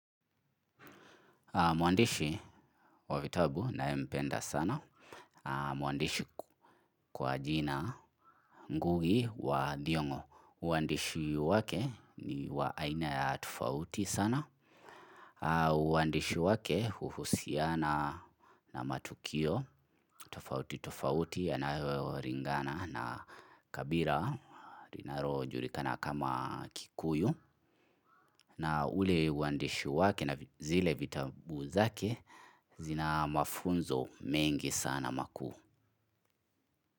Mwandishi wa vitabu nayempenda sana. Mwandishi kwa jina ngugi wa thiongo. Uandishi wake ni wa aina ya tofauti sana. Uandishi wake huhusiana na matukio tofauti tofauti yanayoringana na kabira. Linarojulikana kama kikuyu. Na ule uandishi wake na zile vitabu zake zina mafunzo mengi sana makuu.